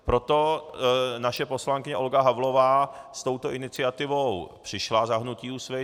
Proto naše poslankyně Olga Havlová s touto iniciativou přišla za hnutí Úsvit.